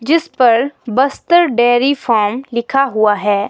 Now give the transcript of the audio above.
जिसपर Bastar dairy farm लिखा हुआ हैं।